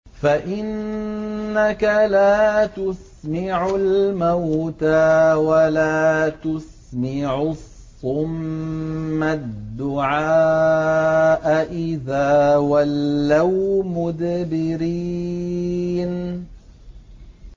فَإِنَّكَ لَا تُسْمِعُ الْمَوْتَىٰ وَلَا تُسْمِعُ الصُّمَّ الدُّعَاءَ إِذَا وَلَّوْا مُدْبِرِينَ